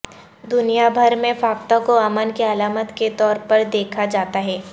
دنیا بھر میں فاختہ کو امن کی علامت کے طور پر دیکھا جاتا ہے